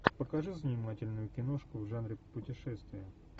покажи занимательную киношку в жанре путешествия